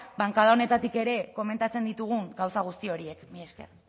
bankada honetatik ere komentatzen ditugun gauza guzti horiek mila esker